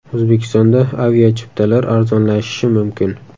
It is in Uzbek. O‘zbekistonda aviachiptalar arzonlashishi mumkin.